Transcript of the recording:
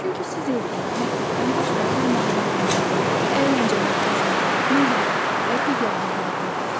Çünki siz evdən, məktəbdən başqa idman zalında, əyləncə mərkəzində, nəqliyyatda və digər yerlərdə olursunuz.